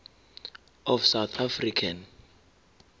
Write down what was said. of south african